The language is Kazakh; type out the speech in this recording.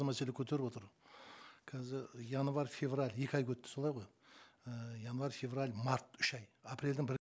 мәселе көтеріп отыр қазір январь февраль екі айға өтті солай ғой ііі январь февраль март үш ай апрельдің бір